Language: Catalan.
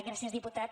gràcies diputat